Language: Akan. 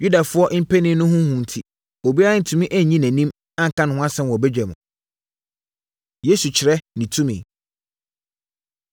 Yudafoɔ mpanin no ho hu enti, obiara antumi annyi nʼanim anka ne ho asɛm wɔ badwa mu. Yesu Kyerɛ Ne Tumi